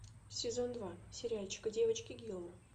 сезон два сериальчика девочки гилмор